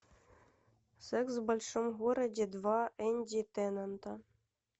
секс в большом городе два энди теннанта